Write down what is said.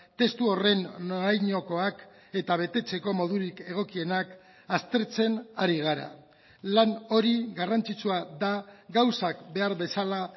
testu horren norainokoak eta betetzeko modurik egokienak aztertzen ari gara lan hori garrantzitsua da gauzak behar bezala